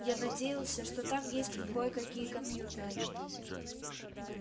я надеялся что там есть кое-какие компьютеры